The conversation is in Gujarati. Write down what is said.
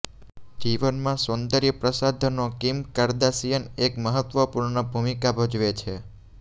જીવનમાં સૌંદર્ય પ્રસાધનો કિમ કાર્દાશિયન એક મહત્વપૂર્ણ ભૂમિકા ભજવે છે